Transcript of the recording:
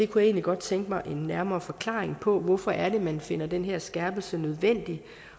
kunne egentlig godt tænke mig en nærmere forklaring på hvorfor det er man finder den her skærpelse nødvendig